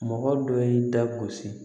Mɔgɔ dɔ y'i da gosi